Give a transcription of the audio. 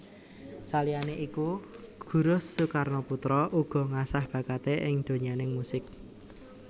Saliyane iku Guruh Soekarnoputra uga ngasah bakaté ing donyaning musik